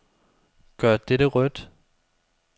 Gør dette rødt.